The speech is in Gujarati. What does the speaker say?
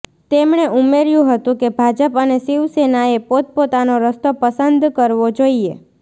તેમણે ઉમેર્યું હતું કે ભાજપ અને શિવસેનાએ પોતપોતાનો રસ્તો પસંદ કરવો જોઈએ